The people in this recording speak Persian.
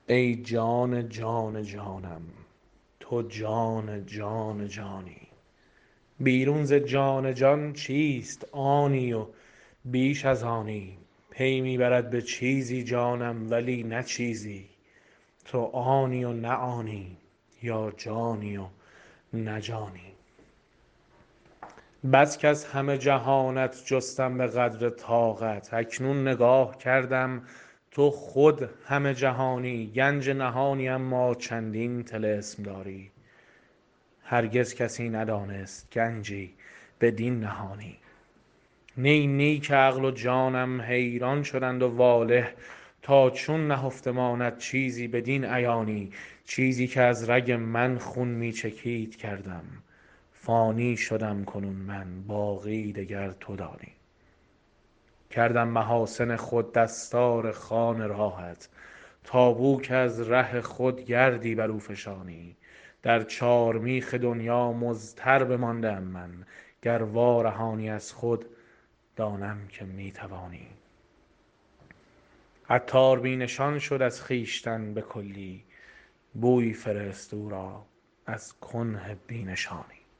ای جان جان جانم تو جان جان جانی بیرون ز جان جان چیست آنی و بیش از آنی پی می برد به چیزی جانم ولی نه چیزی تو آنی و نه آنی یا جانی و نه جانی بس کز همه جهانت جستم به قدر طاقت اکنون نگاه کردم تو خود همه جهانی گنج نهانی اما چندین طلسم داری هرگز کسی ندانست گنجی بدین نهانی نی نی که عقل و جانم حیران شدند و واله تا چون نهفته ماند چیزی بدین عیانی چیزی که از رگ من خون می چکید کردم فانی شدم کنون من باقی دگر تو دانی کردم محاسن خود دستار خوان راهت تا بو که از ره خود گردی برو فشانی در چار میخ دنیا مضطر بمانده ام من گر وارهانی از خود دانم که می توانی عطار بی نشان شد از خویشتن بکلی بویی فرست او را از کنه بی نشانی